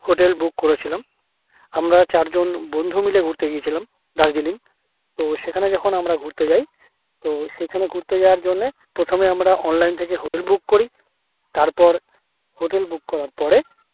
hotel book করেছিলাম আমরা চারজন বন্ধু মুলে ঘুরতে গিয়েছিলাম দার্জিলিং তো সেখানে যখন আমরা ঘুরতে যাই তো সেখানে ঘুরতে যাওয়ার জন্য ওখানে আমরা online থেকে hotel book করি তারপর hotel book করার পরে